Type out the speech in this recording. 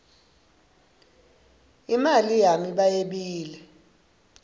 imali yami bayebile